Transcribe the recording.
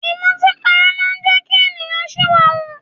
Ìmọtínpara máa ń jẹ́ kí ènìyàn ṣìwàhù.